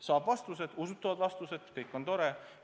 Saab vastused, usutavad vastused – väga tore on.